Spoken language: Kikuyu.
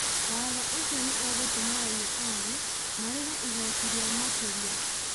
Watho ũcio nĩ ũgũtoma raia a thĩ marĩhĩ igoti rĩa makĩria .